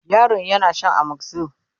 yaron yana Shan amoxyl